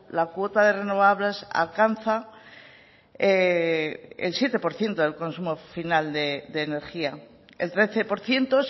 la cuota de renovables alcanza el siete por ciento del consumo final de energía el trece por ciento